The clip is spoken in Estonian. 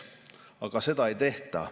Aga seda ei tehta.